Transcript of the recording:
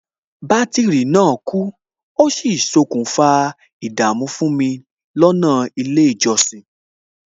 Bátìrì náà kú, ó sì ṣokùnfà ìdààmú fún mi lọ́nà ilé ìjọsìn